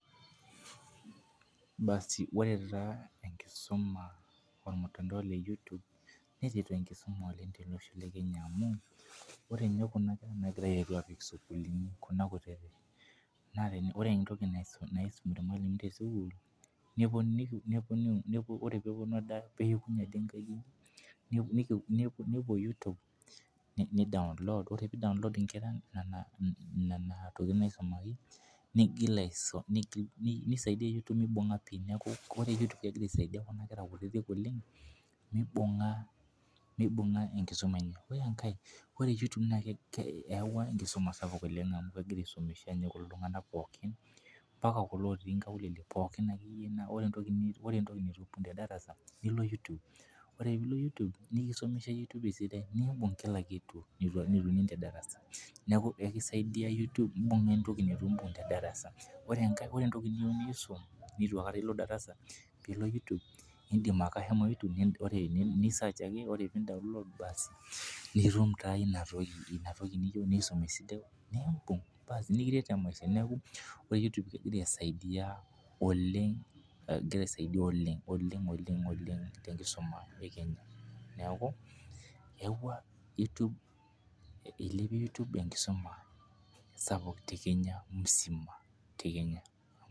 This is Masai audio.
Ore taa enkisuma olmuntao le YouTube. netii taa enkisuma oleng tolosho le Kenya, amu ore ninye kuna kera naitereu sukuulini, Kuna kutiti, naa ore entoki naisum irmalimuni te sukuul nepuonu.m Ore pee epuonu ade ang' , nepuo YouTube ni download ore pee download inkera Nena tokitin naisumaki. nigul aisum. nisaidia YouTube mibunga pii neeku ore Nena tokitin naisumaki. ore you tube. kegira aisidai Kun akera kutitik oleng meibunga enkisuma. ore enkae neyawua enkisuma oleng. amu kegira anyok aisum iltunganak pookin. mpaka kulo otii nkaulele pookin. ore entoki nitum te darasa, nilo you tube ,nikisomesha you tube entoki nibung Kila kitu. neeku ekisaidiae pee itum aibung' entoki neitu I ung te darasa. ore neitu aikatai iisum neitu aikata ilo darasa. nilo you tube.ni search ake nikiret taa maisha neeku, ore you tube egira aisaidia oleng tolosho le kenya.